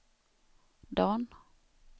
Dan